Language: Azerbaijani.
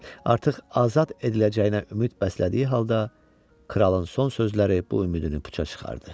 Artıq azad ediləcəyinə ümid bəslədiyi halda kralın son sözləri bu ümidini puça çıxardı.